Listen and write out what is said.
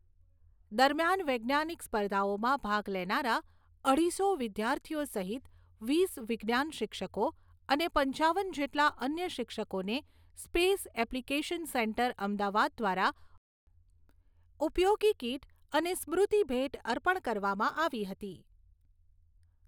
દરમિયાન વૈજ્ઞાનિક સ્પર્ધાઓમાં ભાગ લેનારા અઢીસો વિદ્યાર્થીઓ સહિત વીસ વિજ્ઞાન શિક્ષકો, અને પંચાવન જેટલા અન્ય શિક્ષકોને સ્પેસ એપ્લિકેશન સેન્ટર અમદાવાદ દ્વારા ઉપયોગી કીટ અને સ્મૃતિભેટ અર્પણ કરવામાં આવી હતી.